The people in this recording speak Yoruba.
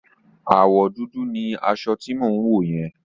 Àwọ̀ dúdú ni aṣọ tí mò ń wò yẹn.